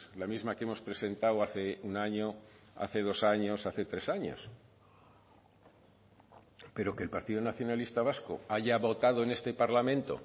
la misma que hemos presentado hace un año hace dos años hace tres años pero que el partido nacionalista vasco haya votado en este parlamento